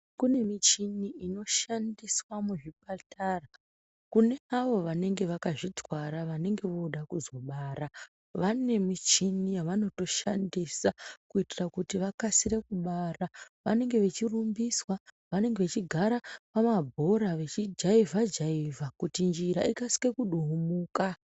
Kine michini inoshandiswa muzvipatara kune avo vanenge vakazvitwara vanenge vode kuzobara vane michini yavanoshandisa kuitira kuti vakasire kubara vanenge vechirumbiswa vanenge vechigara pamabhora vechijaivha jaivha kuti njira ikasike kuduhumuka.